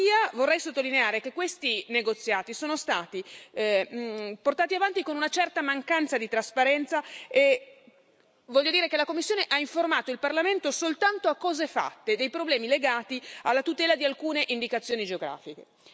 Tuttavia, vorrei sottolineare che questi negoziati sono stati portati avanti con una certa mancanza di trasparenza e voglio dire che la Commissione ha informato il Parlamento soltanto a cose fatte dei problemi legati alla tutela di alcune indicazioni geografiche.